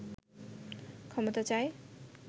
ক্ষমতা চায়